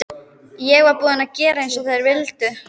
Ég var búin að gera eins og þeir vildu.